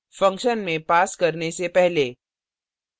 function में पास करने से पहले